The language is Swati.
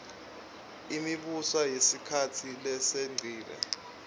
imibuso yesikhatsi lesengcile